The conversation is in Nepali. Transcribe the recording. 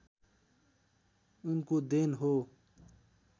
उनको देन हो